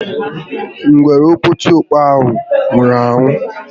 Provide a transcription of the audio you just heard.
Ngwere oketiọkpọ ahụ nwụrụ anwụ